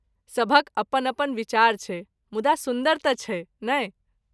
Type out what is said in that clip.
सभक अपन अपन विचार छै, मुदा सुन्दर तँ छै, नहि ?